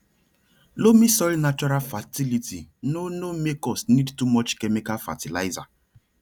loamy soil natural fertility no no make us need too much chemical fertilizer